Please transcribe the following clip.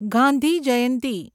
Gandhi Jayanti